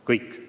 Kõik!